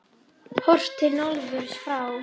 Horft til norðurs frá